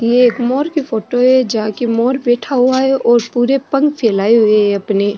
ये एक मोर की फोटो है जहा की मोर बैठा हुआ है और पुरे पंख फैलाये हुए है अपने।